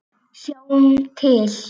Sjáum til.